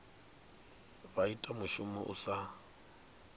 vha ita mushumo u sa